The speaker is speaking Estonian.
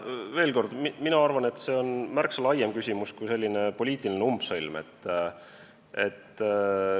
Veel kord, mina arvan, et see on märksa laiem küsimus, mitte lihtsalt poliitiline umbsõlm.